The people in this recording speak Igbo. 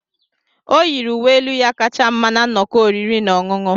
O yiri uwe elu ya kacha mma na nnọkọ oriri na ọṅụṅụ.